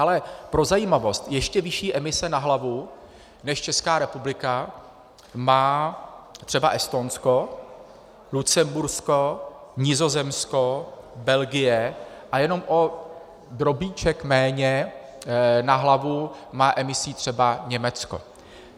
Ale pro zajímavost - ještě vyšší emise na hlavu než Česká republika má třeba Estonsko, Lucembursko, Nizozemsko, Belgie a jenom o drobíček méně na hlavu má emisí třeba Německo.